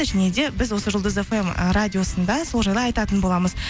және де біз осы жұлдыз фм ы радиосында сол жайлы айтатын боламыз